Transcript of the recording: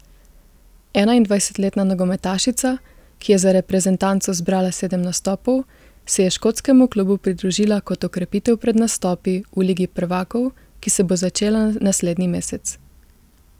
Enaindvajsetletna nogometašica, ki je za reprezentanco zbrala sedem nastopov, se je škotskemu klubu pridružila kot okrepitev pred nastopi v ligi prvakov, ki se bo začela naslednji mesec.